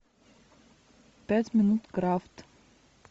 пять минут крафт